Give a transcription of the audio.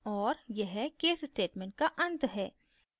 और यह case statement का and है